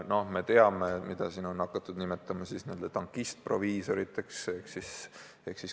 Noh, me teame, keda on hakatud nimetama tankistproviisoriteks.